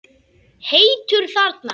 Heitur þarna.